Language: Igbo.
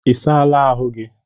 Ị saala ahụ gị?